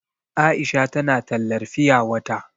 Aisha tana tallar fiya wata.